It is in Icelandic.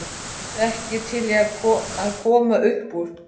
Eruð þið ekki til í að koma uppúr?